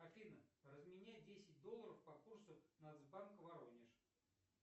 афина разменяй десять долларов по курсу нацбанк воронеж